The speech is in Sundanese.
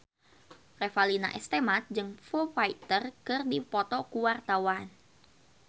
Revalina S. Temat jeung Foo Fighter keur dipoto ku wartawan